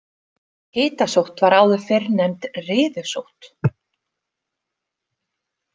Hitasótt var áður fyrr nefnd riðusótt.